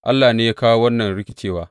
Allah ne ya kawo wannan rikicewa.